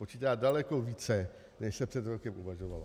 Počítá daleko více, než se před rokem uvažovalo.